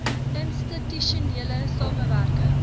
institusionele samewerk ing